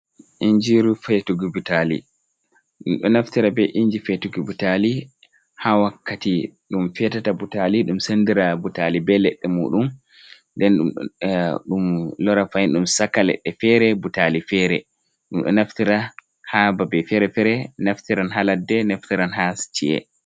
Ingiiru feetugo butaali, ɗum ɗo naftira be inji feetuki butaali, haa wakkati ɗum feetata butaali, ɗum sanndira butaali be leɗɗe muuɗum. Nden ɗum lora fahin, ɗum saka leɗɗe feere, butaali feere. Ɗum ɗo naftira haa babe feere-feere, naftiran haa ladde, naftiran haa ci’e.